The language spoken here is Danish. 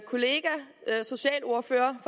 kollega socialordføreren